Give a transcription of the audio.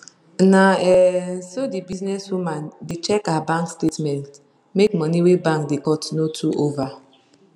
na um so the business woman da check her bank statement make money wey bank da cut no too over